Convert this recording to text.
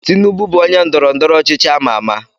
Tinubu bụ onye ndọrọ ndọrọ ọchịchị ámá àmà.